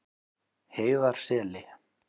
Heiðarseli